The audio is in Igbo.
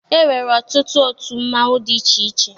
E nwere ọtụtụ otu mmanwụ dị iche iche.